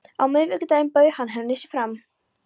Á miðvikudaginn bauð hann henni sig fram.